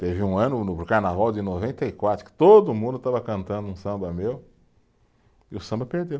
Teve um ano no Carnaval de noventa e quatro que todo mundo estava cantando um samba meu e o samba perdeu.